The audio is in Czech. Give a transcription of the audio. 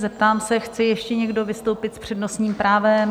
Zeptám se: chce ještě někdo vystoupit s přednostním právem?